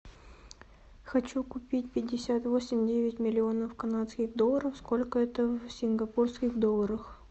хочу купить пятьдесят восемь девять миллионов канадских долларов сколько это в сингапурских долларах